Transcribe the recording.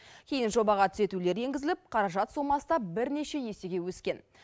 кейін жобаға түзетулер енгізіліп қаражат сомасы да бірнеше есеге өскен